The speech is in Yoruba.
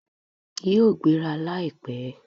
Yíò gbéra láìpẹ́